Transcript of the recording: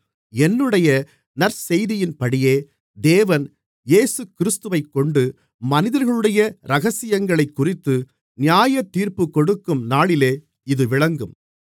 என்னுடைய நற்செய்தியின்படியே தேவன் இயேசுகிறிஸ்துவைக்கொண்டு மனிதர்களுடைய இரகசியங்களைக்குறித்து நியாயத்தீர்ப்புக்கொடுக்கும் நாளிலே இது விளங்கும்